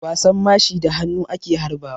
Wasan mashi da hannu ake harba wa.